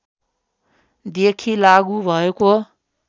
देखि लागू भएको